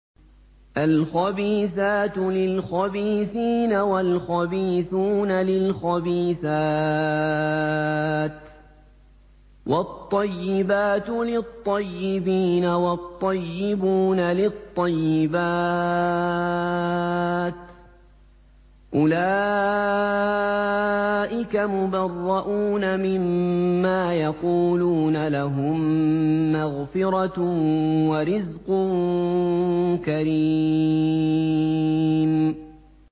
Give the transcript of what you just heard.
الْخَبِيثَاتُ لِلْخَبِيثِينَ وَالْخَبِيثُونَ لِلْخَبِيثَاتِ ۖ وَالطَّيِّبَاتُ لِلطَّيِّبِينَ وَالطَّيِّبُونَ لِلطَّيِّبَاتِ ۚ أُولَٰئِكَ مُبَرَّءُونَ مِمَّا يَقُولُونَ ۖ لَهُم مَّغْفِرَةٌ وَرِزْقٌ كَرِيمٌ